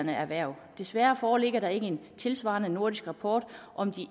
erhverv desværre foreligger der ikke en tilsvarende nordisk rapport om de